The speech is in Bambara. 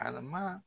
Arama